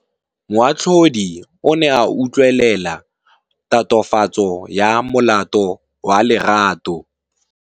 Moatlhodi o ne a utlwelela tatofatsô ya molato wa Lerato.